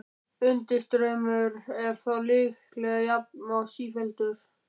Undirstraumurinn er þó líklega jafn og sífelldur.